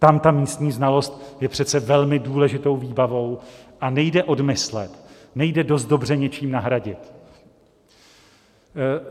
Tam ta místní znalost je přece velmi důležitou výbavou a nejde odmyslet, nejde dost dobře něčím nahradit.